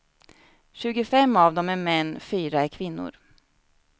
Tjugofem av dem är män, fyra är kvinnor.